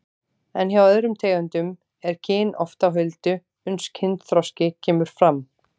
En hjá öðrum tegundum er kyn oft á huldu uns kynþroski kemur fram.